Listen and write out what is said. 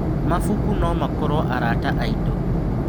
Mabuku no makorwo arata aitũ.